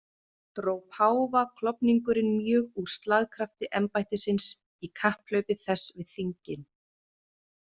Dró páfaklofningurinn mjög úr slagkrafti embættisins í kapphlaupi þess við þingin.